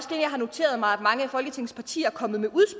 noteret mig mange af folketingets partier er kommet med